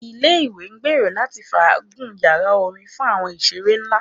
Ile-iwe ngbero lati faagun yara orin fun awọn iṣere nla